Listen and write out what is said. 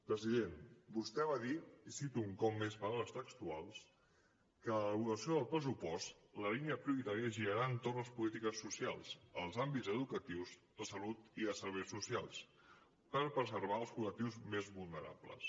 president vostè va dir i cito un cop més paraules textuals que en l’elaboració del pressupost la línia prioritària girarà entorn de les polítiques socials als àmbits educatius de salut i de serveis socials per preservar els col·lectius més vulnerables